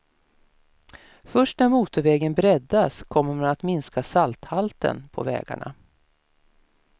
Först när motorvägen breddas kommer man att minska salthalten på vägarna.